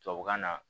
Tubabukan na